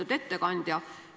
Lugupeetud ettekandja!